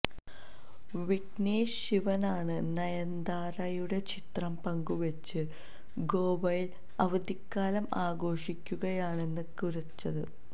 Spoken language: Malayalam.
വിഘ്നേശ് ശിവനാണ് നയന്താരയുടെ ചിത്രം പങ്കുവച്ച് ഗോവയില് അവധിക്കാലം ആഘോഷിക്കുകയാണെന്ന് കുറിച്ചത്